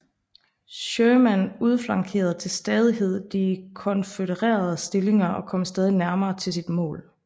Sherman udflankerede til stadighed de konfødererede stillinger og kom stadig nærmere til sit mål